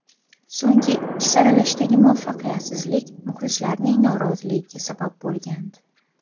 So‘nggi ikki saralashdagi muvaffaqiyatsizlik muxlislarning noroziligiga sabab bo‘lgandi.